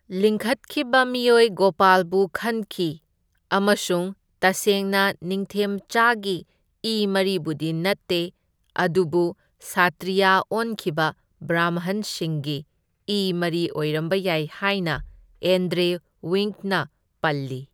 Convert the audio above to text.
ꯂꯤꯡꯈꯠꯈꯤꯕ ꯃꯤꯑꯣꯏ ꯒꯣꯄꯥꯜꯕꯨ ꯈꯟꯈꯤ ꯑꯃꯁꯨꯡ ꯇꯁꯦꯡꯅ ꯅꯤꯡꯊꯦꯝꯆꯥꯒꯤ ꯏ ꯃꯔꯤꯕꯨꯗꯤ ꯅꯠꯇꯦ ꯑꯗꯨꯕꯨ ꯁꯇ꯭ꯔꯤꯌꯥ ꯑꯣꯟꯈꯤꯕ ꯕ꯭ꯔꯥꯝꯍꯟꯁꯤꯡꯒꯤ ꯏ ꯃꯔꯤ ꯑꯣꯏꯔꯝꯕ ꯌꯥꯏ ꯍꯥꯏꯅ ꯑꯦꯟꯗ꯭ꯔꯦ ꯋꯤꯡꯛꯅ ꯄꯜꯂꯤ꯫